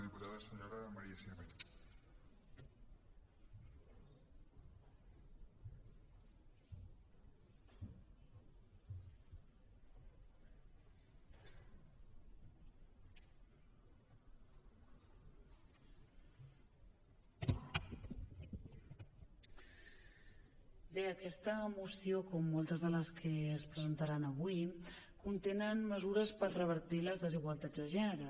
bé aquesta moció com moltes de les que es presentaran avui conté mesures per revertir les desigualtats de gènere